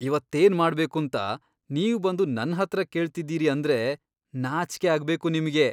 ಇವತ್ತೇನ್ ಮಾಡ್ಬೇಕೂಂತ ನೀವ್ಬಂದು ನನ್ಹತ್ರ ಕೇಳ್ತಿದ್ದೀರಿ ಅಂದ್ರೆ ನಾಚ್ಕೆ ಆಗ್ಬೇಕು ನಿಮ್ಗೆ!